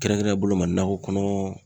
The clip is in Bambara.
Kɛrɛnkɛrɛnnen boloma nakɔ kɔnɔ